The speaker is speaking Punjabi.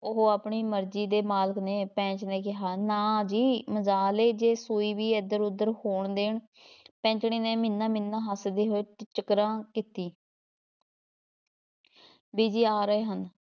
ਉਹ ਆਪਣੀ ਮਰਜ਼ੀ ਦੇ ਮਾਲਕ ਨੇ, ਪੈਂਚ ਨੇ ਕਿਹਾ, ਨਾ ਜੀ ਮਜਾਲ ਏ ਜੇ ਸੂਈ ਵੀ ਇੱਧਰ ਉੱਧਰ ਹੋਣ ਦੇਣ ਪੈਂਚਣੀ ਨੇ ਮਿੰਨ੍ਹਾ ਮਿੰਨ੍ਹਾ ਹੱਸਦੀ ਹੋਏ ਟਿਚਕਰਾਂ ਕੀਤੀ ਬੀਜੀ ਆ ਰਹੇ ਹਨ।